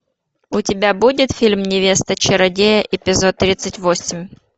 у тебя будет фильм невеста чародея эпизод тридцать восемь